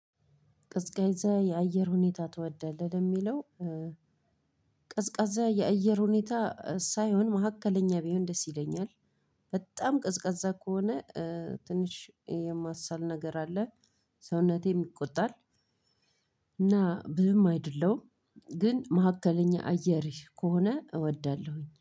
ቀዝቃዛ የአየር ሁኔታ ትወዳለህ? የሚለው፤ ቀዝቃዜ የአየር ሁኔታ ሳይሆን፤ መሃከለኛ ቢሆን ደስ ይለኛል። በጣም ቀዝቃዛ ከሆነ ትንሽ የማሳል ነገር አለ፤ ሰውነቴም ይቆጣል። እና ብዙም አይደለሁም። ግን መሃከለኛ አየር ከሆነ እወዳለሁኝ።